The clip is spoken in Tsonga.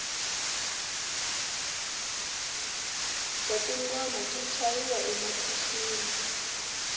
bya tingoma byi chayiwa emakixini